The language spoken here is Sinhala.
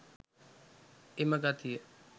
එම ගතිය